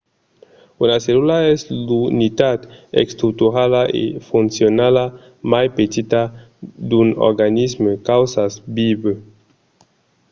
una cellula es l’unitat estructurala e foncionala mai petita d’un organisme causas vivent